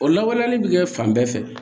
O lawaleyali bɛ kɛ fan bɛɛ fɛ